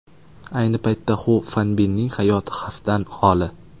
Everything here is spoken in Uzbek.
Ayni paytda Xu Fanbinning hayoti xavfdan xoli.